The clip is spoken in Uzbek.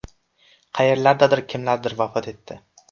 Qayerlardadir kimlardir vafot etdi.